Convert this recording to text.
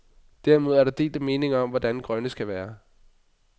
Derimod er der delte meninger om, hvordan den grønne skal være.